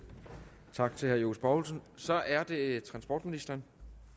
tak til herre johs poulsen så er det transportministeren